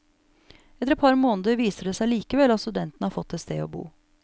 Etter et par måneder viser det seg likevel at studentene har fått et sted å bo.